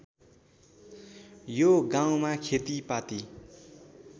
यो गाउँमा खेतीपाती